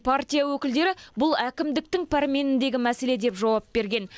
партия өкілдері бұл әкімдіктің пәрменіндегі мәселе деп жауап берген